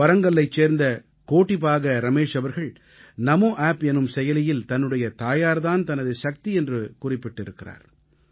வரங்கல்லைச் சேர்ந்த கோடிபாக ரமேஷ் அவர்கள் நமோஆப் எனும் செயலியில் தன்னுடைய தாயார் தான் தனது சக்தி என்று குறிப்பிட்டிருக்கிறார்